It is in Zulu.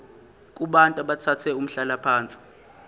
kubantu abathathe umhlalaphansi